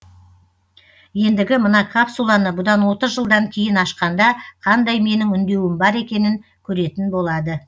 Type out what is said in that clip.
ендігі мына капсуланы бұдан отыз жылдан кейін ашқанда қандай менің үндеуім бар екенін көретін болады